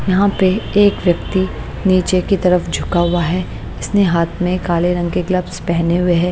यहाँ पे एक व्यक्ति नीचे की तरफ झुका हुआ है इसने हाथ में काले रंग के ग्लव्स पहने हुए हैं।